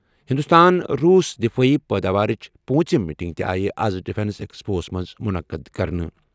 ہِنٛدُستان، روٗس دِفٲعی پٲداوارٕچہِ پوٗنٛژِم میٖٹِنٛگ تہِ آیہِ آز ڈِفیٚنس ایٚکسپوٗہس منٛز مُنعقد کرنہٕ۔